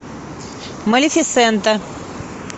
малефисента